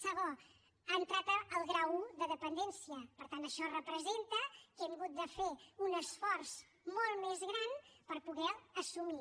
segon ha entrat el grau i de dependència per tant això representa que hem hagut de fer un esforç molt més gran per poder ho assumir